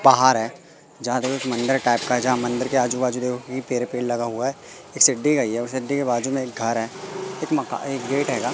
बाहर है जहां देखो एक मंदिर टाइप का है जहां मंदिर के आजू बाजू पेड़ लगा हुआ है ये सिद्धि का ही है सिद्धि के बाजू में एक कार है एक माकन एक गेट है गा।